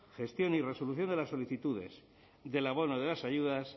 gestión y resolución de las solicitudes del abono de las ayudas